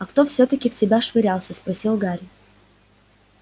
а кто всё-таки в тебя швырялся спросил гарри